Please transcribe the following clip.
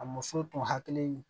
A muso tun hakili